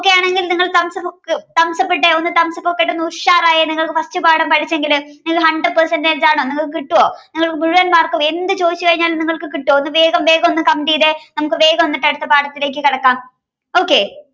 okay ആണെങ്കിൽ നിങ്ങൾ thumbs up ഇട്ടേ. ഒന്ന് thumbs up ഒക്കെ ഇട്ട് ഒന്ന് ഉഷാറായെ നിങ്ങൾ first പാഠം പഠിച്ചെങ്കില് നിങ്ങള് hundred percentage ആണോ നിങ്ങൾക്ക് കിട്ടുമോ നിങ്ങൾക്ക് മുഴുവൻ mark ക്കും എന്ത് ചോദിച്ചു കഴിഞ്ഞാലും നിങ്ങൾക്ക് കിട്ടുമോഒന്ന് വേഗംവേഗം ഒന്ന് comment ചെയ്തേ നമുക്ക് വേഗം ഒന്ന് അടുത്ത പാഠത്തിലേക്കു കടക്കാം okay